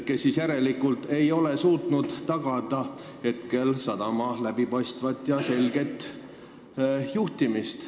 Kas te ei ole seni suutnud tagada sadama läbipaistvat juhtimist?